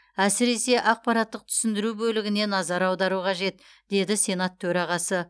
әсіресе ақпараттық түсіндіру бөлігіне назар аудару қажет деді сенат төрағасы